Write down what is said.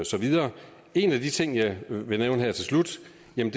så videre en af de ting jeg vil nævne her til slut